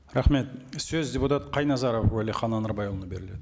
рахмет сөз депутат қайназаров уәлихан анарбайұлына беріледі